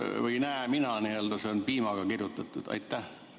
Või ei oska mina seda näha, kuna see on piimaga kirjutatud?